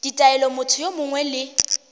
ditaelo motho yo mongwe le